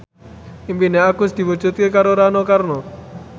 impine Agus diwujudke karo Rano Karno